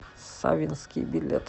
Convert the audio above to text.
саввинский билет